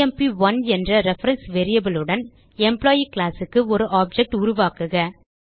எம்ப்1 என்ற ரெஃபரன்ஸ் variableஉடன் எம்ப்ளாயி classக்கு ஒரு ஆப்ஜெக்ட் உருவாக்குக